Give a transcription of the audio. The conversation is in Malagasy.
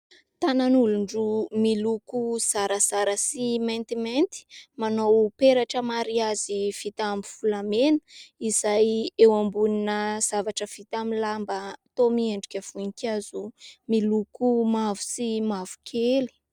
Tanan' olon-droa miloko zarazara sy maintimainty manao peratra mariazy vita amin' ny volamena izay eo ambonina zavatra vita amin' ny lamba toa miendrika voninkazo miloko mavo sy mavokely.